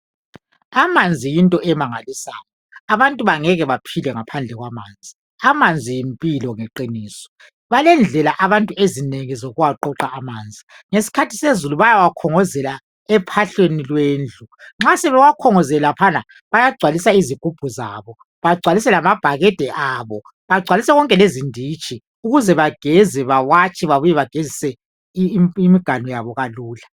Amanzi yinto emangalisayo. Abantu abangeke baphile ngaphandle kwamanzi. Amanzi yimpilo ngeqiniso balendlela abantu ezinengi zokuwaqoqa amanzi ngesikhathi sezulu bayawakhongozela ephahleni lwendlu. Nxa sebewakhongozele laphana bayagcwalisa izigubhu zabo bagcwalise lamabhakede abo begcwalise konke lezinditshi ukuze bageze bawatshe babuye bagezise imiganu yabo kalula.